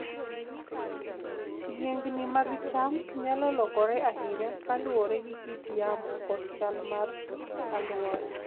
Yiengini mag cham nyalo lokore ahinya kaluwore gi kit yamo kod chal mar alwora.